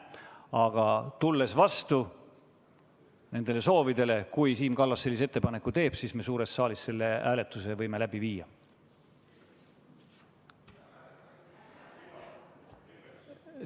Aga tulles vastu siinsetele soovidele, siis juhul, kui Siim Kallas ettepaneku teeb, võime me suures saalis selle hääletuse läbi viia.